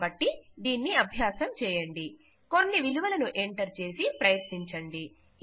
కాబట్టి దీనిని అభ్యాసం చేయండి కొన్ని విలువలను ఎంటర్ చేసి ప్రయత్నించండి